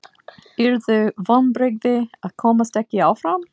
Yrðu vonbrigði að komast ekki áfram?